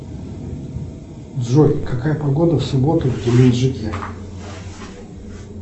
джой какая погода в субботу в геленджике